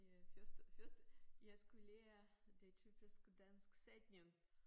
Det første første jeg skulle lære det typiske dansk sætning